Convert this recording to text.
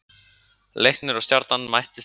Leiknir og Stjarnan mættust í Breiðholti.